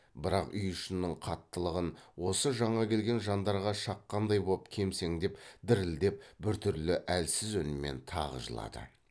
бірақ үй ішінің қаттылығын осы жаңа келген жандарға шаққандай боп кемсеңдеп дірілдеп біртүрлі әлсіз үнмен тағы жылады